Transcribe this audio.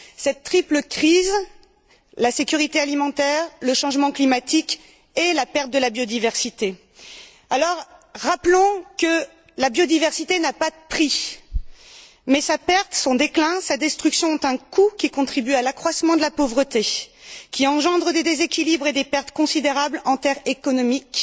Cette triple crise concerne la sécurité alimentaire, le changement climatique et la perte de la biodiversité. Rappelons que la biodiversité n'a pas de prix, mais sa perte, son déclin, sa destruction ont un coût, qui contribue à l'accroissement de la pauvreté et qui engendre des déséquilibres et des pertes considérables en termes économiques,